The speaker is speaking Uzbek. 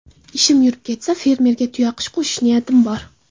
Ishim yurib ketsa, fermaga tuyaqush qo‘shish niyatim bor.